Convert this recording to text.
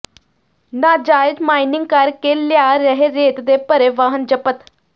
ਨਾਜਾਇਜ਼ ਮਾਈਨਿੰਗ ਕਰਕੇ ਲਿਆ ਰਹੇ ਰੇਤ ਦੇ ਭਰੇ ਵਾਹਨ ਜ਼ਬਤ